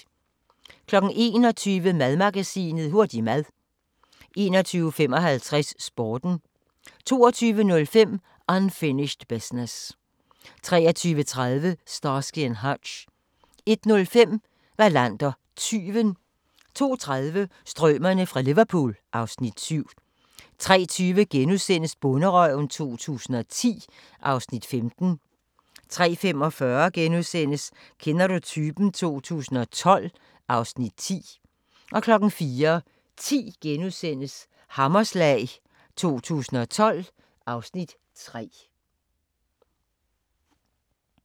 21:00: Madmagasinet: Hurtig mad 21:55: Sporten 22:05: Unfinished Business 23:30: Starsky & Hutch 01:05: Wallander: Tyven 02:30: Strømerne fra Liverpool (Afs. 7) 03:20: Bonderøven 2010 (Afs. 15)* 03:45: Kender du typen? 2012 (Afs. 10)* 04:10: Hammerslag 2012 (Afs. 3)*